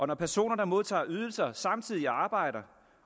når personer der modtager ydelser samtidig arbejder